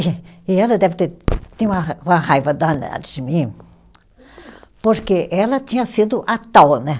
E ela deve ter, tinha uma ra, uma raiva danada de mim, porque ela tinha sido a tal, né?